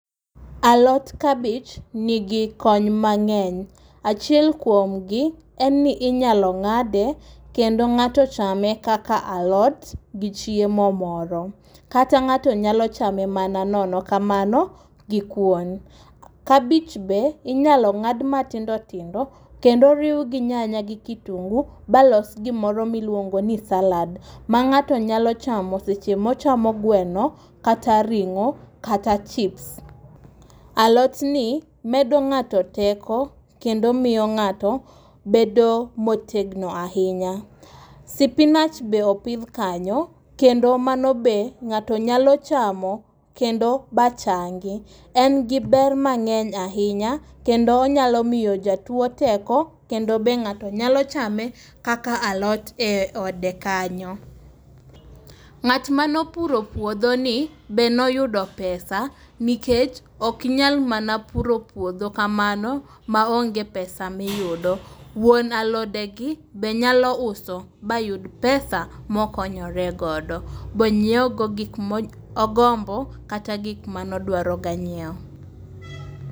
Alot kabich nigi kony mangény. Achiel kuom gi en ni inyalo ngáde kendo ngáto chame kaka alot gi chiemo moro. Kata ngáto nyalo chame mana nono kamano gi kuon. Kabich be inyalo ngád matindo tindo kendo oriw go nyanya gi kitungu ba los gima iluongo ni salad. Ma ngáto nyalo chamo seche ma ochamo gweno kata ringó kata chips. Alotni medo ngáto teko kendo miyo ngáto bedo motegno ahinya. Spinach be opidh kanyo, kendo mano be ngáto nyalo chamo kendo ba changi. En gi ber mangény ahinya, kendo onyalo miyo jatuo teko kendo be ngáto nyalo chame kaka lot e ode kanyo. Ngát mane opuro puodho ni be ne oyudo pesa, nikech ok inyal mana puro puodho kamano, ma onge pesa ma iyudo. Wuon alodegi be nyalo uso ba yud pesa ma okonyore godo. Ba onyiew go gik ma ogombo kata gik mane odwaro ga nyiewo.